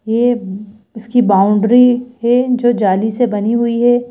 ये इसकी बाउंड्री है जो जाली से बनी हुई है।